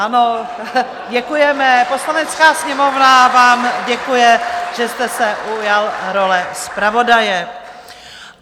Ano, děkujeme, Poslanecká sněmovna vám děkuje, že jste se ujal role zpravodaje.